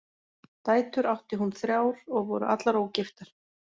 Dætur átti hún þrjár og voru allar ógiftar.